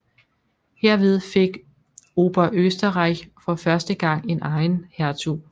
Herved fik Oberösterreich for første gang en egen hertug